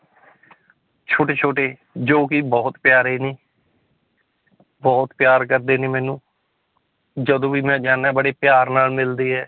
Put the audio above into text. ਛੋਟੇ ਛੋਟੇ ਜੋ ਕਿ ਬਹੁਤ ਪਿਆਰੇ ਨੇ ਬਹੁਤ ਪਿਆਰ ਕਰਦੇ ਨੇ ਮੈਨੂੰ ਜਦੋਂ ਵੀ ਮੈਂ ਜਾਨਾ ਹੈਂ ਬੜੇ ਪਿਆਰ ਨਾਲ ਮਿਲਦੇ ਹੈ।